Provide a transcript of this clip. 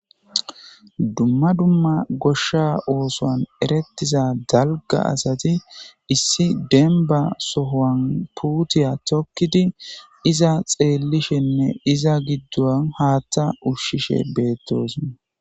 dumma dumma goshsha oosoan erettiza dalga asati issi denba sohoan puutiya tokkidi iza xeellishenne iza giddon haattha ushshishe beettosa